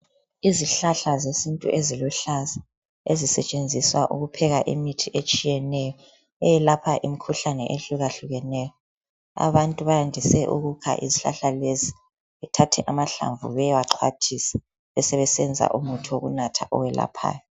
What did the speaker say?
Izihlahla zesintu eziluhlaza ezisetshenziswa ukupheka imithi etshiyeneyo, eyelapha imikhuhlane ehlukahlukeneyo. Abantu bayandise ukukha izihlahla lezi, bethathe amahlamvu bayewaxhwathisa besebesenza umuthi wokunatha owelaphayo